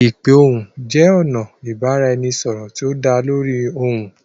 Ipe ohùn jẹ ọna ibaraẹnisọrọ ti o da lórí ohyun.